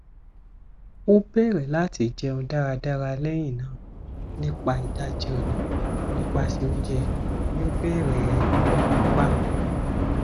o bẹrẹ lati jẹun daradara lẹhinna nipa idaji ọna nipasẹ ounjẹ yoo bẹrẹ fifi pa